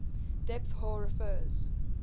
depth hoar refers